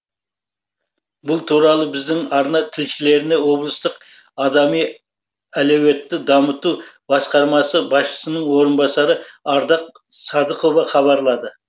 бұл туралы біздің арна тілшілеріне облыстық адами әлеуетті дамыту басқармасы басшысының орынбасары ардақ садықова хабарлады